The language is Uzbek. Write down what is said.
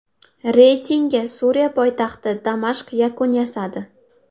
Reytingga Suriya poytaxti Damashq yakun yasadi.